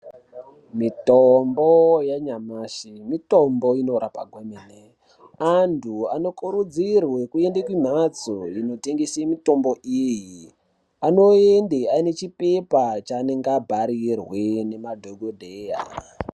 Mitombo yanyamashi mitombo inorapa kwemene andu anokurudzirwe kuende kumhatso inotengese mitombo iyi anoyende nechipepa chaanenge abharirwe nemadhokodheya.